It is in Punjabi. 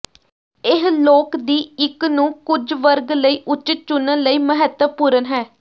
ਇਹ ਲੋਕ ਦੀ ਇੱਕ ਨੂੰ ਕੁਝ ਵਰਗ ਲਈ ਉੱਚਿਤ ਚੁਣਨ ਲਈ ਮਹੱਤਵਪੂਰਨ ਹੈ